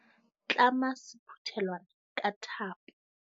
Tlama sephuthelwana ka thapo.